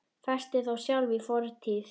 Festist þá sjálf í fortíð.